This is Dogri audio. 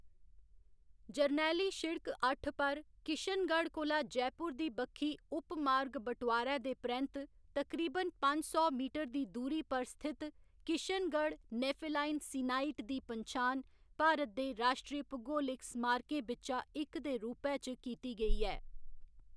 जरनैली शिड़क अट्ठ पर किशनगढ़ कोला जयपुर दी बक्खी उपमार्ग बटोआरै दे परैंत्त तकरीबन पंज सौ मीटर दी दूरी पर स्थित किशनगढ़ नेफेलाइन सीनाइट दी पन्छान भारत दे राश्ट्री भूगोलिक स्मारकें बिच्चा इक दे रूपै च कीती गेई ऐ।